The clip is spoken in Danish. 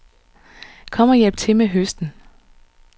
Kom og hjælp til med høsten.